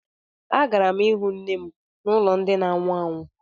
Agara m ịhụ nne m n'ụlọ ndi na ánwụ ánwụ